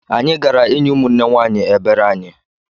Anyị gara inye ụmụnne nwanyị ebere anyị